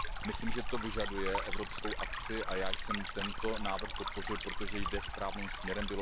Myslím, že to vyžaduje evropskou akci, a já jsem tento návrh podpořil, protože jde správným směrem.